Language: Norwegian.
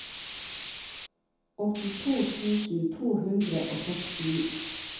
åttito tusen to hundre og sekstini